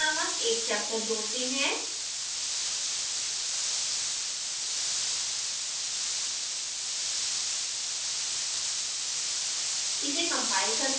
add new chapter नामक एक chapter जोड़ते हैं